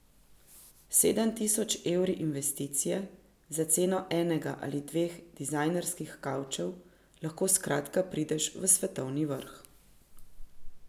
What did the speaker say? S sedem tisoč evri investicije, za ceno enega ali dveh dizajnerskih kavčev, lahko skratka prideš v svetovni vrh.